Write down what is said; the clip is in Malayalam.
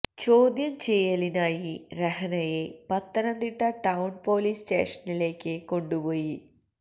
ചോദ്യം ചെയ്യലിനായി രഹ്നയെ പത്തനംതിട്ട ടൌൺ പൊലീസ് സ്റ്റേഷനിലേക്ക് കൊണ്ടുപോയി